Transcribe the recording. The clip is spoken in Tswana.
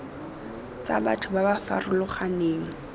tsa batho ba ba farologaneng